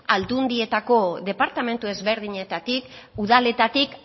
aldundietako departamentu ezberdinetatik udaletatik